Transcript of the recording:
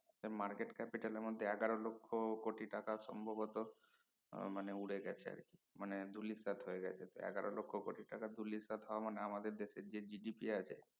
market capital মধ্যে এগারো লক্ষ কোটি টাকা সম্ভবত আহ মানে উড়ে গেছে আর কি মানে ধুলিস্যাৎ হয়ে গেছে এগারো লক্ষ কোটি টাকা ধুলিস্যাৎ হওয়া মানে আমাদের দেশে যে GDB আছে